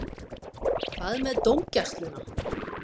Hvað með dómgæsluna?